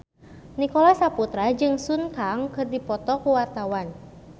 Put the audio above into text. Nicholas Saputra jeung Sun Kang keur dipoto ku wartawan